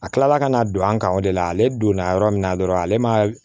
A kila la ka na don an kan o de la ale donna yɔrɔ min na dɔrɔn ale ma